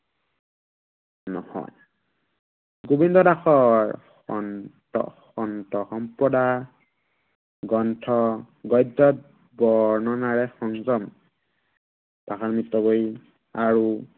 নহয়। গোৱিন্দ দাসৰ সন্ত সন্ত সম্পদা গ্ৰন্থ গদ্য়ত গননাৰে সংযম আৰু নহয়।